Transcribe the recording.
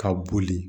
Ka boli